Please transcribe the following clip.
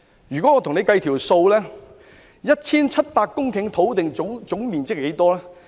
讓我與大家計算一下 ，1,700 公頃土地的總面積即是多少？